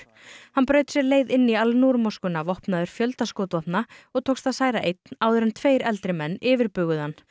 hann braut sér leið inn í Al Noor moskuna vopnaður fjölda skotvopna og tókst að særa einn áður en tveir eldri menn yfirbuguðu hann